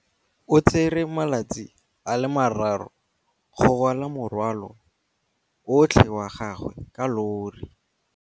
O tsere malatsi a le marraro go rwala morwalo otlhe wa gagwe ka llori.